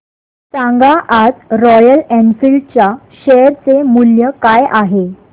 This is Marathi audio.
सांगा आज रॉयल एनफील्ड च्या शेअर चे मूल्य काय आहे